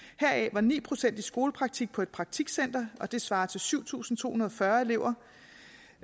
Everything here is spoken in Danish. var ni procent i skolepraktik på et praktikcenter og det svarer til syv tusind to hundrede og fyrre elever